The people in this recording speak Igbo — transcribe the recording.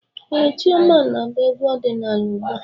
Ee, Chioma na-agba egwú ọdịnaala ugbu a.